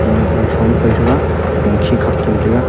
khenyak zangshom paitaiga khopongkhi khak chamtaiga.